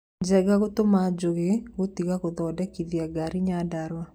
Njenga gũtũma njugi gũtiga gũthondekithia ngari Nyandarua